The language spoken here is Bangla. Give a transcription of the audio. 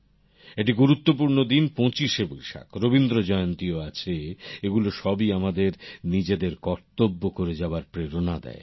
একটি গুরুত্বপূর্ণ দিন পঁচিশে বৈশাখ রবীন্দ্রজয়ন্তীও আছে এগুলো সবই আমাদের নিজেদের কর্তব্য করে যাওয়ার প্রেরণা দেয়